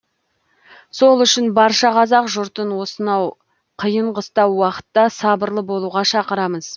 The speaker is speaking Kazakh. сол үшін барша қазақ жұртын осынау қиын қыстау уақытта сабырлы болуға шақырамыз